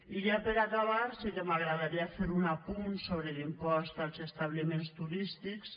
i ja per acabar sí que m’agradaria fer un apunt sobre l’impost als establiments turístics